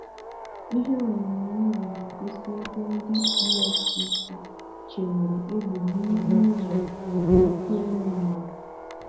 Ihe onyoonyo na-egosi ebe ndị EFCC chewere égbè n'ihu ụlọ Ekweremadu.